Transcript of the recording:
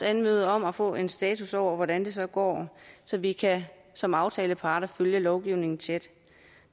anmode om at få en status over hvordan det så går så vi som aftaleparter kan følge lovgivningen tæt